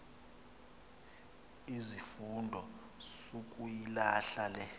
izifundo sukuyilahla le